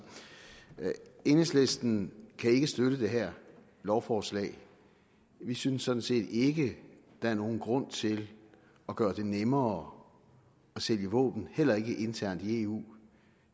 enhedslisten kan ikke støtte det her lovforslag vi synes sådan set ikke der er nogen grund til at gøre det nemmere at sælge våben heller ikke internt i eu